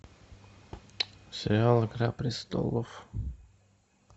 сериал игра престолов